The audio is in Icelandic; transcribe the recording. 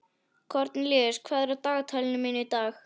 Kornelíus, hvað er á dagatalinu mínu í dag?